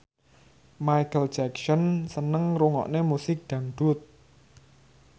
Micheal Jackson seneng ngrungokne musik dangdut